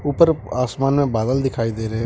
ऊपर आसमान में बादल दिखाई दे रहे है।